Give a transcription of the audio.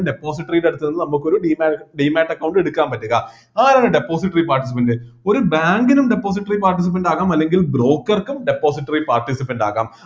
depository യുടെ അടുത്ത് നിന്ന് നമുക്ക് ഒരു demate demate account എടുക്കാൻ പറ്റുക ആരാണ് depository participant ഒരു bank നും depository participant ആകാം അല്ലെങ്കിൽ broker ക്കും depository participant ആകാം